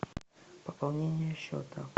пополнение счета